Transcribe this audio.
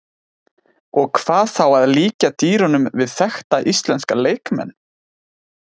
Og hvað þá að líkja dýrunum við þekkta íslenska leikmenn?